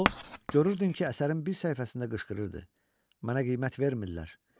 O görürdün ki, əsərin bir səhifəsində qışqırırdı: "Mənə qiymət vermirlər!"